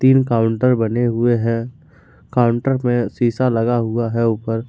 तीन काउंटर बने हुए हैं काउंटर में शीशा लगा हुआ है ऊपर--